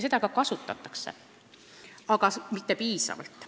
Neid ka kasutatakse, aga mitte piisavalt.